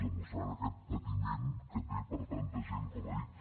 demostrant aquest patiment que té per tanta gent com ha dit